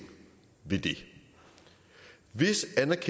det vil